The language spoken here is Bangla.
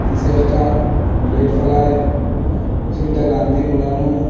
নীসে একটা ব্লেড ফ্যালাইল মেশিনটা রাং দিয়ে মোড়ানো।